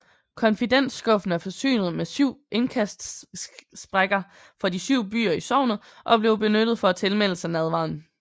Confitentskuffen er forsynet med syv indkastsprækker for de syv byer i sognet og blev benyttet for at tilmelde sig nadveren